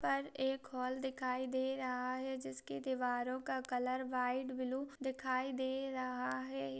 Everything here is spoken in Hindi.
पर एक हॉल दिखाई दे रहा है जिसकी दीवारो का कलर व्हाइट ब्लू दिखाई दे रहा है।